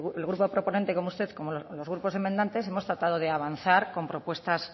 el grupo proponente como usted como los grupos enmendantes hemos tratado de avanzar con propuestas